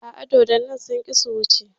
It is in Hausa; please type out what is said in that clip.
A'a, dodonni sun ƙi su wuce.